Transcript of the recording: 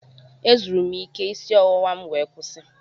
Ezuru m ike isi ọwụwa m wee kwụsị.